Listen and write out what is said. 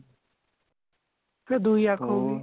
ਫੇਰ ਦੁਹਿ ਅੱਖ ਹੋਗੀ